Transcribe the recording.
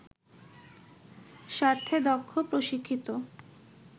স্বার্থে দক্ষ, প্রশিক্ষিত